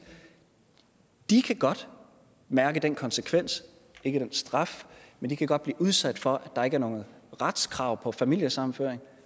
de kan godt mærke den konsekvens ikke den straf men de kan godt blive udsat for at der ikke er noget retskrav på familiesammenføring